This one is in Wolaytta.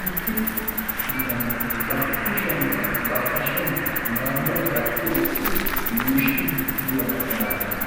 issi bitanee ba kushiyankka ba hashiyankka maayuwaa kaqqiyo woxxidi yuushiiddi diyaabaa malatees